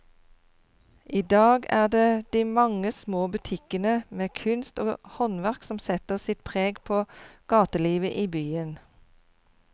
I dag er det de mange små butikkene med kunst og håndverk som setter sitt preg på gatelivet i byen.